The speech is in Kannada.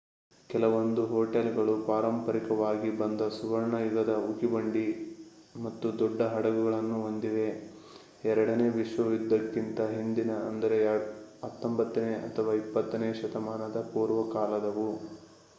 ಕೆಲವೊಂದು ಹೊಟೇಲ್ಗಳು ಪಾರಂಪರಿಕವಾಗಿ ಬಂದ ಸುವರ್ಣ ಯುಗದ ಉಗಿಬಂಡಿ ಮತ್ತು ದೊಡ್ಡ ಹಡಗುಗಳನ್ನು ಹೊಂದಿವೆ ಎರಡನೇ ವಿಶ್ವ ಯುದ್ಧಕ್ಕಿಂತ ಹಿಂದಿನ ಅಂದರೆ 19ನೇ ಅಥವಾ 20ನೇ ಶತಮಾನದ ಪೂರ್ವಕಾಲದವು